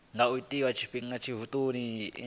nga itwa nga tshifhinga tshithihi